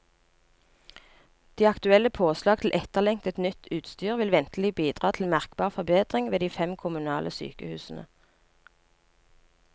De aktuelle påslag til etterlengtet, nytt utstyr vil ventelig bidra til merkbar forbedring ved de fem kommunale sykehusene.